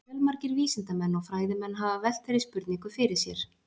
Fjölmargir vísindamenn og fræðimenn hafa velt þeirri spurningu fyrir sér.